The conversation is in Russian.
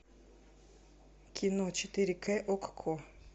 кино четыре к окко